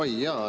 Oi jaa!